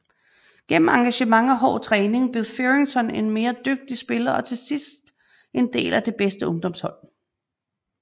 Gennem engagement og hård træning blev Fearrington en mere dygtig spiller og til sidste en del af det bedste ungdomshold